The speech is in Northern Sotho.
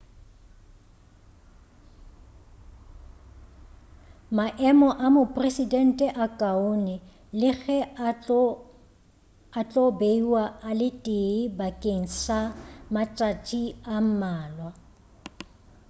maemo a mopresidente a kaone le ge a tlo beiwa a le tee bakeng sa matšatši a mmalwa